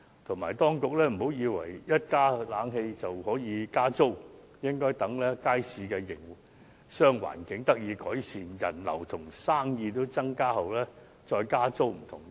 此外，當局切勿以為安裝冷氣後便能加租，應該待街市的營商環境得到改善，人流和生意均有所增加後才加租。